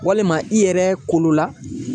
Walima i yɛrɛ kolola